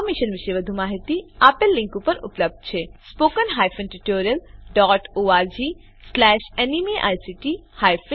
આ મિશન પર વધુ માહીતી આપેલ લીંક પર ઉપલબ્ધ છે spoken hyphen tutorial dot org slash NMEICT hyphen intro